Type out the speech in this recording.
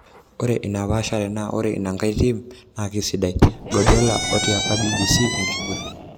Ore enepashare naa ore inangae tim na kisidai, Guardiola otiaka BBC enkiguran.